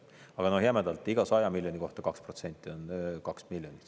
Aga jämedalt: iga 100 miljoni kohta 2% on 2 miljonit.